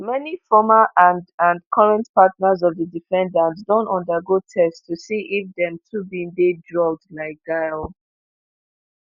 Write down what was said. many former and and current partners of di defendants don undergo tests to see if dem too bin dey drugged like gisèle.